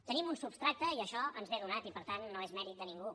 tenim un substrat i això ens és donat i per tant no és mèrit de ningú